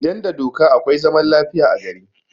Idan da doka akwai zaman lafiya a gari